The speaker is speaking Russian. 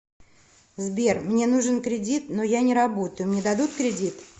сбер мне нужен кредит но я не работаю мне дадут кредит